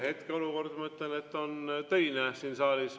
Hetkeolukord, ma mõtlen, et on töine siin saalis.